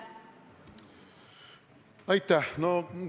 Aitäh!